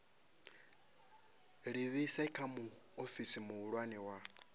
livhise kha muofisi muhulwane wa